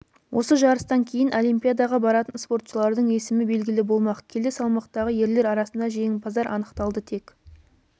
осы жарыстан кейін олимпиадаға баратын спортшылардың есімі белгілі болмақ келі салмақтағы ерлер арасында жеңімпаздар анықталды тек